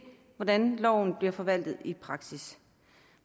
hvordan loven bliver forvaltet i praksis